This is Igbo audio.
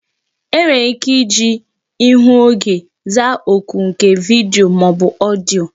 E nwere ike iji ihu oge zaa oku nke vidiyo maọbu odiyo